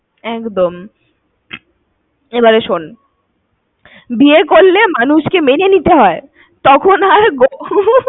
একদম একদম। এবারে শোন বিয়ে করলে মানুষকে মেনে নিতে হয় তখন হয়